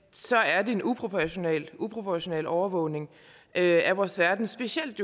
så er det en uproportional uproportional overvågning af vores færden specielt